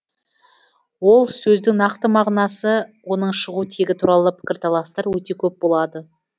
ол сөздің нақты мағынасы оның шығу тегі туралы пікірталастар өте көп болады